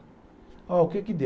Ó o que que deu.